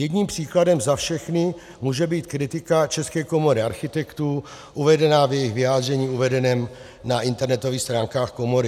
Jedním příkladem za všechny může být kritika České komory architektů uvedená v jejich vyjádření uvedeném na internetových stránkách komory.